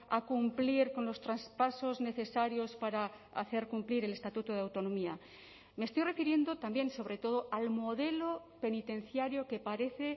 a cumplir con los traspasos necesarios para hacer cumplir el estatuto de autonomía me estoy refiriendo también sobre todo al modelo penitenciario que parece